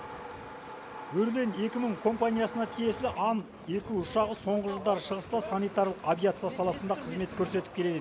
өрлен екі мың компаниясына тиесілі ан екі ұшағы соңғы жылдары шығыста санитарлық авиация саласында қызмет көрсетіп келеді